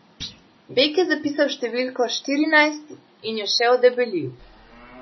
Beg je zapisal številko štirinajst in jo še odebelil.